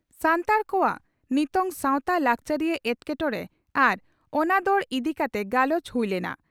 ᱥᱟᱱᱛᱟᱲ ᱠᱚᱣᱟᱜ ᱱᱤᱛᱟᱝ ᱥᱟᱣᱛᱟ ᱞᱟᱠᱪᱟᱨᱤᱭᱟᱹ ᱮᱴᱠᱮᱴᱚᱬᱮ ᱟᱨ ᱚᱱᱟᱫᱚᱲ ᱤᱫᱤ ᱠᱟᱛᱮ ᱜᱟᱞᱚᱪ ᱦᱩᱭ ᱞᱮᱱᱟ ᱾